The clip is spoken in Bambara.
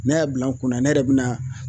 Ne y'a bila n kun na ne yɛrɛ bɛna